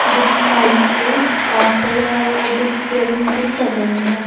जित माइक में पास्टर है वो जो पेअर मीटिंग कर रहे हैं।